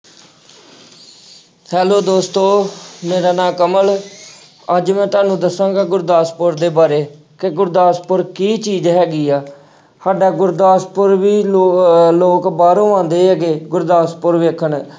Hello ਦੋਸਤੋ ਮੇਰਾ ਨਾਂ ਕਮਲ ਅੱਜ ਮੈਂ ਤੁਹਾਨੂੰ ਦੱਸਾਂਗਾ ਗੁਰਦਾਸਪੁਰ ਦੇ ਬਾਰੇ ਕਿ ਗੁਰਦਾਸਪੁਰ ਕੀ ਚੀਜ਼ ਹੈਗੀ ਹੈ ਸਾਡਾ ਗੁਰਦਾਸਪੁਰ ਵੀ ਲੋ~ ਅਹ ਲੋਕ ਬਾਹਰੋਂ ਆਉਂਦੇ ਹੈਗੇ ਗੁਰਦਾਸਪੁਰ ਵੇਖਣ।